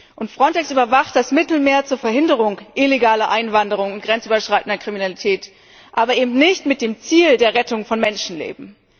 Und Frontex überwacht das Mittelmeer zur Verhinderung illegaler Einwanderung und grenzüberschreitender Kriminalität, aber eben nicht mit dem Ziel der Rettung von Menschenleben.